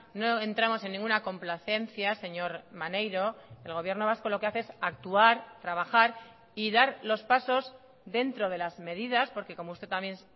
no entramos en ninguna complacencia señor maneiro el gobierno vasco lo que hace es actuar trabajar y dar los pasos dentro de las medidas porque como usted también